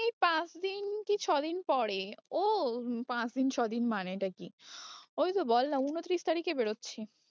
এই পাঁচ দিন কি ছ দিন পরে ও পাঁচ দিন ছ দিন মানে টা কি? ওই তো বল না ঊনত্রিশ তারিখে বেরোচ্ছি।